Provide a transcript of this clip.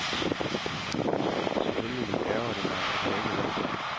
Selvfølgelig ærgrer det mig, at jeg ikke vandt.